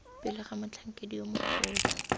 pele ga motlhankedi yo mogolo